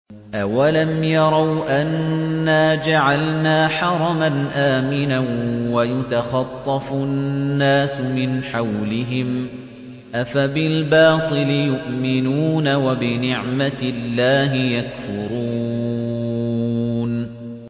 أَوَلَمْ يَرَوْا أَنَّا جَعَلْنَا حَرَمًا آمِنًا وَيُتَخَطَّفُ النَّاسُ مِنْ حَوْلِهِمْ ۚ أَفَبِالْبَاطِلِ يُؤْمِنُونَ وَبِنِعْمَةِ اللَّهِ يَكْفُرُونَ